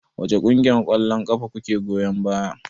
Wace ƙungiyar ƙwallon ƙafa kuke goyon baya?